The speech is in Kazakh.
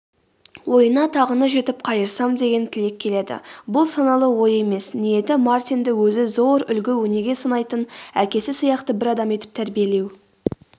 ойына тағыны жетіп қайырсам деген тілек келеді бұл саналы ой емес ниеті мартинді өзі зор үлгі-өнеге санайтын әкесі сияқты бір адам етіп тәрбиелеу